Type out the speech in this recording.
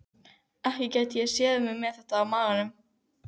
Ekki gæti ég séð mig með þetta á maganum.